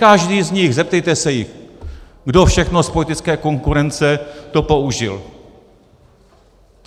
Každý z nich - zeptejte se jich - kdo všechno z politické konkurence to použil.